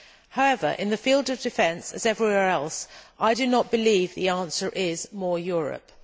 However, in the field of defence, as everywhere else, I do not believe the answer is more Europe'.